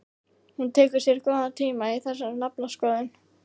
Hún tekur sér góðan tíma í þessa naflaskoðun.